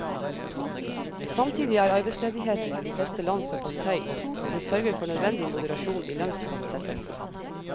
Samtidig er arbeidsledigheten i de fleste land såpass høy at den sørger for nødvendig moderasjon i lønnsfastsettelsen.